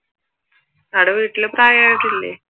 അവിടെ വീട്ടിൽ പ്രായം ആയവർ ഇല്ലേ?